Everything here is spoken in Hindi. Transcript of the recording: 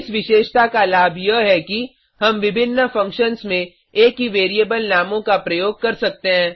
इस विशेषता का लाभ यह है कि हम विभिन्न फंक्शन्स में एक ही वैरिएबल नामों का प्रयोग कर सकते हैं